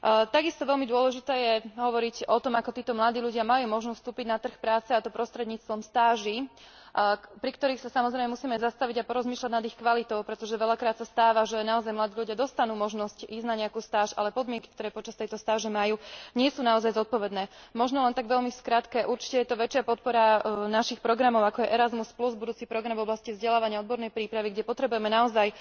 Takisto veľmi dôležité je hovoriť o tom, ako títo mladí ľudia majú možnosť vstúpiť na trh práce, a to prostredníctvom stáží, pri ktorých sa samozrejme musíme zastaviť a porozmýšľať nad ich kvalitou, pretože veľakrát sa stáva, že naozaj mladí ľudia dostanú možnosť ísť na nejakú stáž, ale podmienky, ktoré počas tejto stáže majú, nie sú naozaj zodpovedné. Možno len tak veľmi v skratke, určite je to väčšia podpora našich programov, ako je Erasmus plus budúci program v oblasti vzdelávania, odbornej prípravy, kde potrebujeme naozaj